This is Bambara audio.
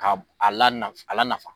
K'a la a lanafa